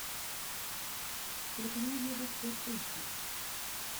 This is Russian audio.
телеканал евроспорт эйч ди